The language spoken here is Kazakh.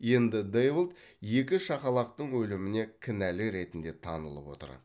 енді дэйволт екі шақалақтың өліміне кінәлі ретінде танылып отыр